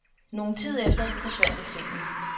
Nogen tid efter forsvandt eksemen.